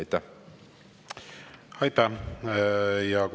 Aitäh!